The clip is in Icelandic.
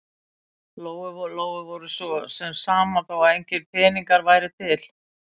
Lóu-Lóu var svo sem sama þó að engir peningar væru til.